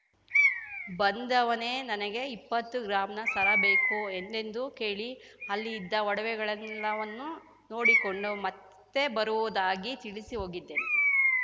ಬಂದವನೇ ನನಗೆ ಇಪ್ಪತ್ತು ಗ್ರಾಂನ ಸರ ಬೇಕು ಎಂದೆಂದು ಕೇಳಿ ಅಲ್ಲಿ ಇದ್ದ ಒಡವೆಗಳೆಲ್ಲವನ್ನೂ ನೋಡಿಕೊಂಡು ಮತ್ತೆ ಬರುವುದಾಗಿ ತಿಳಿಸಿ ಹೋಗಿದ್ದೇನೆ